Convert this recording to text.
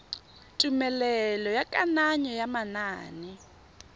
tumelelo ya kananyo ya manane